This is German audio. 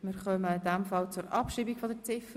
Wir kommen zur Abschreibung von Ziffer